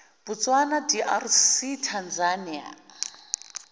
botswana drc tanzania